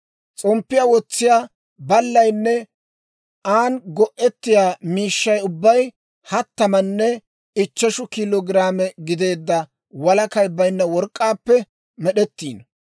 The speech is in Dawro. S'omppiyaa wotsiyaa baallaynne an go"ettiyaa miishshaa ubbay hattamanne ichcheshu kiilo giraame gideedda walakay baynna work'k'aappe med'd'ettiino.